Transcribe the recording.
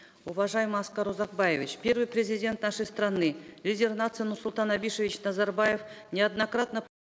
уважаемый аскар узакбаевич первый президент нашей страны лидер нации нурсултан абишевич назарбаев неоднократно